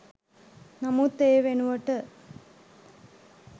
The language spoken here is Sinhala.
නමුත් ඒ වෙනුවට